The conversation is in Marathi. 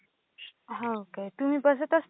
हो का? तुम्ही बसत असता का?